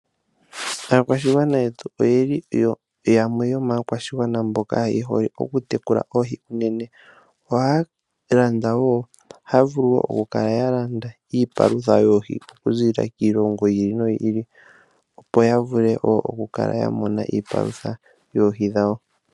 Aakwashigwana yetu oye hole okutekula oohi unene noohi ohayedhi landele iikulya yedhi paluthe ndjoka hayi landwa kiilongo yiili no yiili opo yavule okumona iipalutha yoohi dhawo.